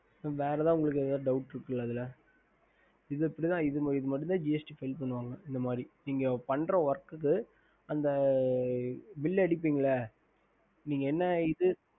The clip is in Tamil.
ஹம்